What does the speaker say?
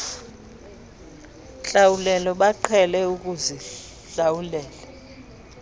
ntlawulo baqhele ukuzihlawula